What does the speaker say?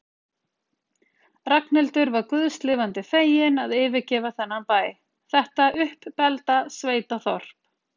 Ragnhildur var guðs lifandi fegin að yfirgefa þennan bæ, þetta uppbelgda sveitaþorp.